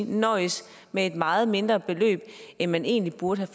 nøjes med et meget mindre beløb end man egentlig burde